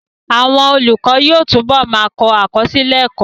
Àwọn olùkọ́ yóò túbọ̀ ma kọ àkọsílẹ̀ ẹ́kọ́